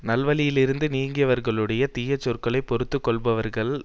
நல்வழியிலிருந்து நீங்கியவர்களுடைய தீய சொற்களை பொறுத்து கொள்ளுபவர்கள்